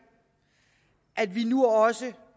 at vi nu også